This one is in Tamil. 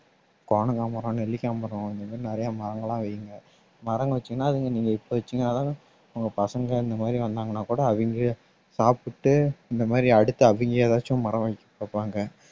கோணங்கா மரம், நெல்லிக்காய் மரம் இந்த மாதிரி நிறைய மரங்கள்லாம் வைங்க மரம் வச்சீங்கன்னா அதுங்க நீங்க இப்ப வச்சீங்கன்னாதான் உங்க பசங்க இந்த மாதிரி வந்தாங்கன்னா கூட அவிங்களே சாப்பிட்டு இந்த மாதிரி அடுத்து அவிங்க ஏதாச்சும் மரம் பார்ப்பாங்க